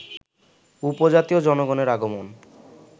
উপজাতীয় জনগণের আগমন